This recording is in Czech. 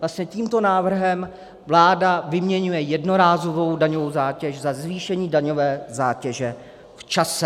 Vlastně tímto návrhem vláda vyměňuje jednorázovou daňovou zátěž za zvýšení daňové zátěže v čase.